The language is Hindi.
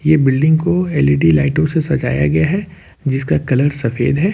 ये बिल्डिंग को एल_ई_डी लाइटों से सजाया गया है जिसका कलर सफेद है।